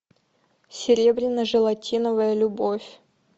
серебряно желатиновая любовь